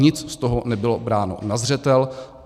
Nic z toho nebylo bráno na zřetel.